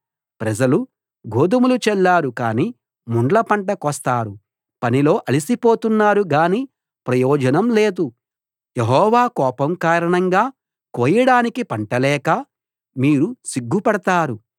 ప్రజలు గోదుమలు చల్లారు కానీ ముండ్ల పంట కోస్తారు పనిలో అలసిపోతున్నారు గాని ప్రయోజనం లేదు యెహోవా కోపం కారణంగా కోయడానికి పంట లేక మీరు సిగ్గుపడతారు